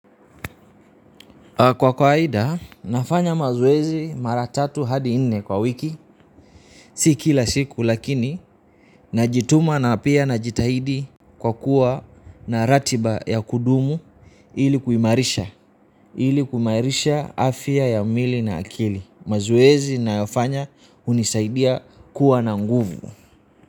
Kwa kawaida, nafanya mazoezi mara tatu hadi nne kwa wiki, si kila siku lakini, najituma na pia najitahidi kwa kuwa na ratiba ya kudumu ili kuimarisha, ili kuimarisha afya ya mwili na akili. Mazoezi nayofanya hunisaidia kuwa na nguvu.